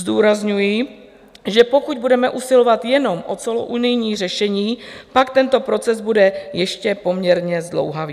Zdůrazňuji, že pokud budeme usilovat jenom o celounijní řešení, pak tento proces bude ještě poměrně zdlouhavý.